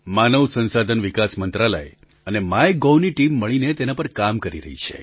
માનવ સંસાધન વિકાસ મંત્રાલય અને માયગોવ ની ટીમ મળીને તેના પર કામ કરી રહી છે